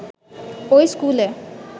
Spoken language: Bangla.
ঐ স্কুলে